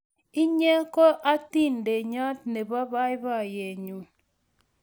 inye ko atindeyot nebo baibayet nyu